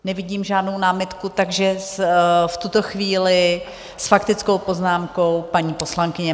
Nevidím žádnou námitku, takže v tuto chvíli s faktickou poznámkou paní poslankyně.